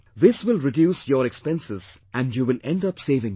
This will reduce your expenses and you will end up saving money